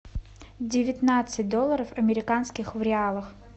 девятнадцать долларов американских в реалах